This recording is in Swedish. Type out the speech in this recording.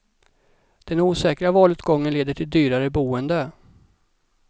Den osäkra valutgången leder till dyrare boende.